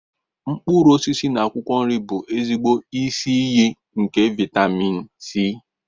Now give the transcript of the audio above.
Mkpụrụ osisi na akwụkwọ nri bụ ezigbo isi iyi nke vitámịn C